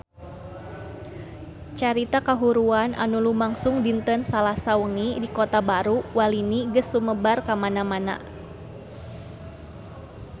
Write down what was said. Carita kahuruan anu lumangsung dinten Salasa wengi di Kota Baru Walini geus sumebar kamana-mana